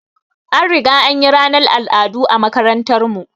An riga anyi ranar al'adu a makarantar mu